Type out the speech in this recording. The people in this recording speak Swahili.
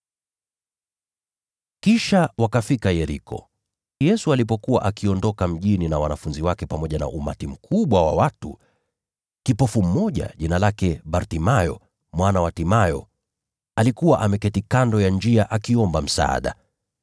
Kisha wakafika Yeriko. Yesu alipokuwa akiondoka mjini na wanafunzi wake pamoja na umati mkubwa wa watu, kipofu mmoja, jina lake Bartimayo, mwana wa Timayo, alikuwa ameketi kando ya njia akiomba msaada.